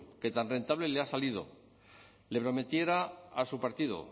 que tan rentable les ha salido le prometiera a su partido